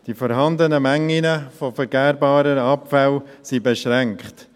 Die vorhandenen Mengen an vergärbaren Abfällen sind beschränkt.